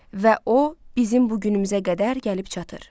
Və o bizim bu günümüzə qədər gəlib çatır.